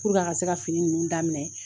a ka se ka fini nunnu daminɛ